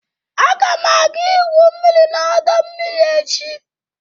Aga m aga igwu mmiri n'ọdọ mmiri echi.